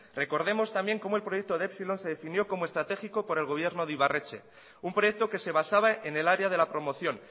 recordemos también como el proyecto de epsilon se definió como estratégico por el gobierno de ibarretxe un proyecto que se basaba en el área de la promoción